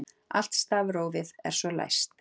Allt stafrófið er svo læst